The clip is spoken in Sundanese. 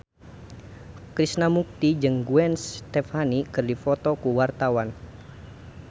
Krishna Mukti jeung Gwen Stefani keur dipoto ku wartawan